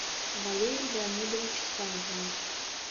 валерий леонидович савван